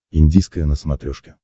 индийское на смотрешке